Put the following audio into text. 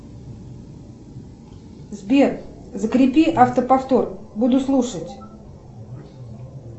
сбер закрепи автоповтор буду слушать